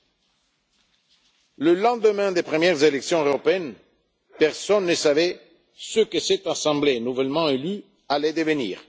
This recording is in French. oblige. Au lendemain des premières élections européennes, personne ne savait ce que cette Assemblée nouvellement élue allait devenir.